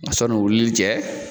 Ma sɔnni o wili cɛ